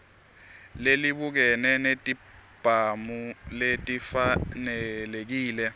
lelibukene netibhamu lelifanelekile